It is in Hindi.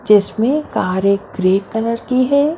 जिसमें कारें ग्रे कलर की है।